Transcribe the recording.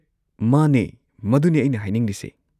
ꯃꯥꯅꯦ, ꯃꯗꯨꯅꯦ ꯑꯩꯅ ꯍꯥꯏꯅꯤꯡꯂꯤꯁꯦ꯫